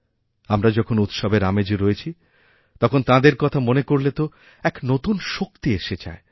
আমরা যখনউৎসবের আমেজে রয়েছি তখন তাঁদের কথা মনে করলে তো এক নতুন শক্তি এসে যায়